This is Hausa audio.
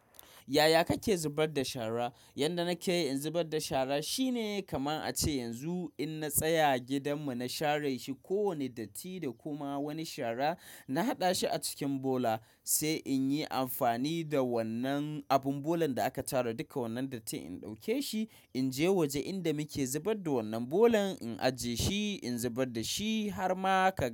Yaya kake zubar da shara? Yanda nake yi in zubar da shara shine kamar a ce yanzu in na tsaya gidanmu na share shi ko wane datti da kuma wani shara na haɗa shi a cikin bola sai in yi amfani da wannan abin bolan da aka tara duka wannan datti in ɗauke shi in je waje inda muke zubar da wannan bolan in ajiye shi in zubar da shi har ma ka.